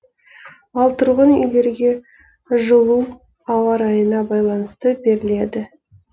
ал тұрғын үйлерге жылу ауа райына байланысты беріледі